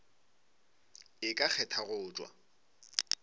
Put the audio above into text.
e ka kgetha go tšwa